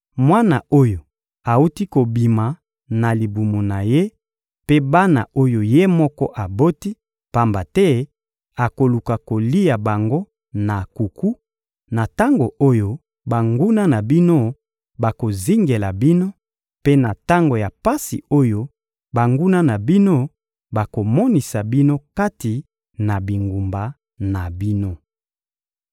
mwana oyo awuti kobima na libumu na ye, mpe bana oyo ye moko aboti; pamba te akoluka kolia bango na nkuku, na tango oyo banguna na bino bakozingela bino, mpe na tango ya pasi oyo banguna na bino bakomonisa bino kati na bingumba na bino.